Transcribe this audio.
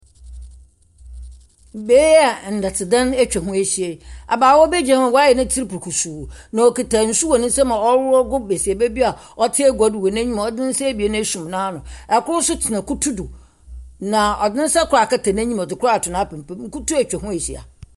Beae yi a ndɛtse dan etwa hɔ ehyia yi, abaawa bi gyina hɔ a wayɛ netsir brukusuu. Na okita nsu wɔ n'ensam a ɔreworɔ agu besiaba bi a ɔtse eguado wɔ nenyim a ɔdze nensa ebien asum n'ano. Ɛkor nso tsena kutu do, na ɔdze nensa kor akata n'enyim, ɔdze kor ato napampam. Na kutu etwa hɔ ehyia.